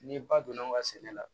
Ni ba donna nga sɛnɛ la